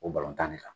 O balontan de kan